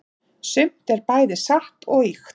sumt er bæði satt og ýkt